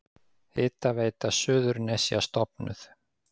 Hitaveita Suðurnesja stofnuð.